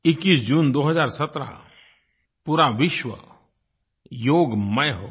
21 जून 2017 पूरा विश्व योगमय हो गया